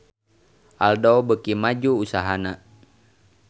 Aldo beuki maju usahana